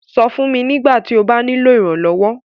Sọ̀ fun mí nígbàtí ó bá nilo iránlọ́wọ́.